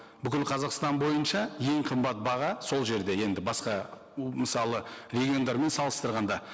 бүкіл қазақстан бойынша ең қымбат баға сол жерде енді басқа мысалы региондармен салыстырғанда